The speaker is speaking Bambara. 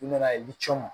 U nana ye i bi cɔ